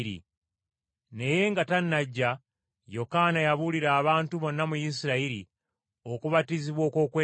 Naye nga tannajja, Yokaana yabuulira abantu bonna mu Isirayiri okubatizibwa okw’okwenenya.